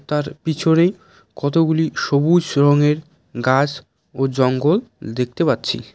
তার পিছরে কতগুলি সবুস রঙের গাস ও জঙ্গল দেখতে পাচ্ছি।